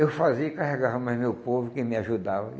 Eu fazia e carregava mais meu povo, quem me ajudava.